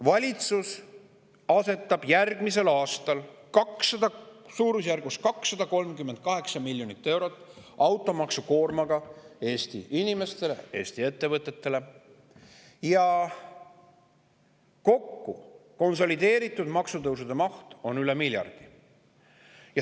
Valitsus asetab järgmisel aastal suurusjärgus 238 miljoni eurose automaksukoorma Eesti inimestele ja ettevõtetele ning kokku on konsolideeritud maksutõusude maht üle miljardi.